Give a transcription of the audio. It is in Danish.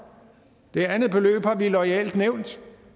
det andet beløb har vi loyalt nævnt